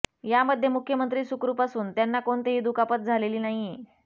यामध्ये मुख्यमंत्री सुखरुप असून त्यांना कोणतीही दुखापत झालेली नाहीय